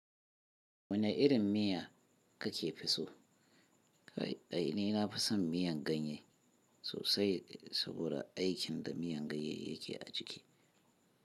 Wani irin miya kake fi so? A, i ai ni nafi son miyan ganye sosai saboda aikin da miyan ganye yake a jiki.